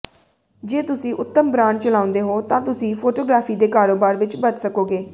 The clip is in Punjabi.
ਜੇ ਤੁਸੀਂ ਉੱਤਮ ਬ੍ਰਾਂਡ ਚਲਾਉਂਦੇ ਹੋ ਤਾਂ ਤੁਸੀਂ ਫੋਟੋਗ੍ਰਾਫੀ ਦੇ ਕਾਰੋਬਾਰ ਵਿਚ ਬਚ ਸਕੋਗੇ